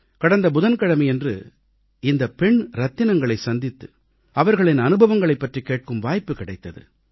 கடந்த புதன்கிழமையன்று இந்தப் பெண் ரத்தினங்களைச் சந்தித்து அவர்களின் அனுபவங்களைப் பற்றிக் கேட்கும் வாய்ப்பு கிடைத்தது